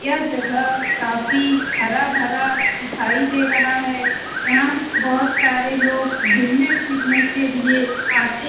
यह जगह काफी हरा भरा दिखाई दे रहा है यहाँ बहुत सारे लोग गुमने फिरने के लिए आते --